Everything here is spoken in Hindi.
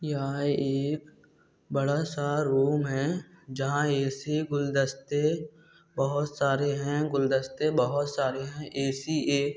यह एक बड़ा सा रूम है जहाँ ऐ_सी गुलदस्ते सारे है गुलदस्ते बहोत सारे है ऐ_सी एक---